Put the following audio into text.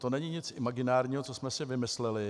To není nic imaginárního, co jsme si vymysleli.